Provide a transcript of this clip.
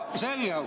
Selge.